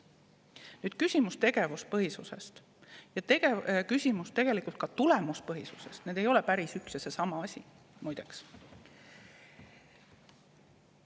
Nüüd küsimus tegevuspõhisusest ja tegelikult ka tulemuspõhisusest – need ei ole päris üks ja seesama asi, muide.